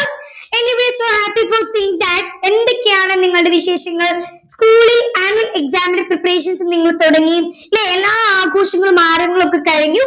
Anyways so happy for seeing that എന്തൊക്കെയാണ് നിങ്ങളുടെ വിശേഷങ്ങൾ school ൽ annual exams ന്റെ preprations നിങ്ങൾ തുടങ്ങി അല്ലെ എല്ലാ ആഘോഷങ്ങളും ആരവങ്ങൾ ഒക്കെ കഴിഞ്ഞു